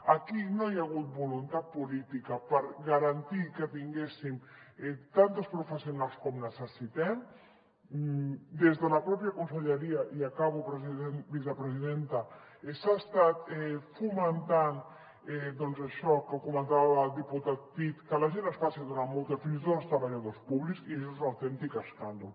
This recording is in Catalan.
aquí no hi ha hagut voluntat política per garantir que tinguéssim tantes professionals com necessitem des de la mateixa conselleria i acabo vicepresidenta s’ha estat fomentant doncs això que comentava el diputat cid que la gent es faci d’una mútua fins i tot els treballadors públics i això és un autèntic escàndol